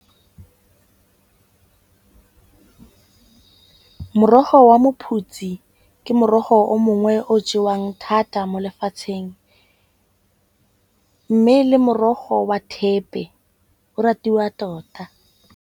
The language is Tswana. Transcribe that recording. Morogo wa mophutsi ke morogo o mongwe o jewang thata mo lefatsheng. Mme le morogo wa thepe o ratiwa tota.